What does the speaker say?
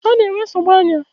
Ana-enwe nsogbu anya.